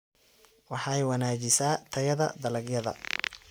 Waxay wanaajisaa tayada dalagyada.